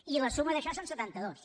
i la suma d’això són setantados